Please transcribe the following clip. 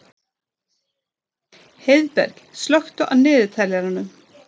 Heiðberg, slökktu á niðurteljaranum.